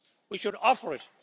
We should offer it.